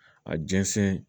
A jɛnsɛn